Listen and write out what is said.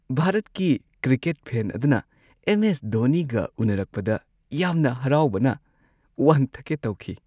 ꯚꯥꯔꯠꯀꯤ cricket fan ꯑꯗꯨꯅ M. S. ꯙꯣꯅꯤꯒ ꯎꯅꯔꯛꯄꯗ ꯌꯥꯝꯅ ꯍꯔꯥꯎꯕꯅ ꯋꯥꯟꯊꯒꯦ ꯇꯧꯈꯤ ꯫